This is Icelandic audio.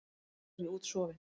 Nú er ég útsofin.